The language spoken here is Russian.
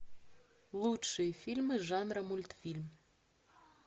лучшие фильмы жанра мультфильм